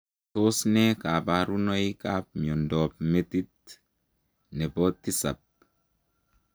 Tos ne kabarunoik ap miondoop metiit nepoo tisaap?